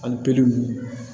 Ali pelu ninnu